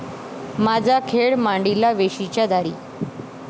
माझा खेळ मांडीला वेशीच्या दारी